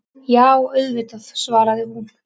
Já, auðvitað, svaraði hún.